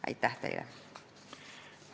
Aitäh teile!